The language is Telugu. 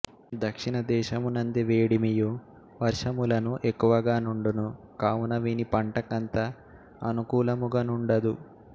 దక్షిణ దేశమునంది వేడిమియు వర్షములును ఎక్కువగా నుండును కావున వీని పంటకంత అనుకూలముగ నుండదు